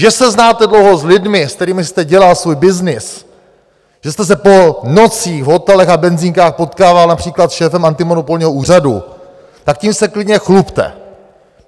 Že se znáte dlouho s lidmi, se kterými jste dělal svůj byznys, že jste se po nocích po hotelech a benzinkách potkával například s šéfem antimonopolního úřadu, tak tím se klidně chlubte!